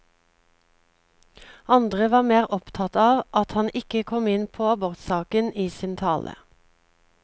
Andre var mer opptatt av at han ikke kom inn på abortsaken i sin tale.